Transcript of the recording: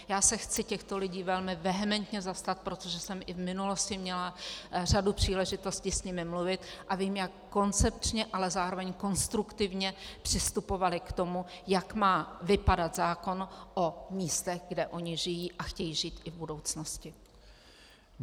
Já se chci těchto lidí velmi vehementně zastat, protože jsem i v minulosti měla řadu příležitostí s nimi mluvit a vím, jak koncepčně, ale zároveň konstruktivně přistupovali k tomu, jak má vypadat zákon o místech, kde oni žijí a chtějí žít i v budoucnosti.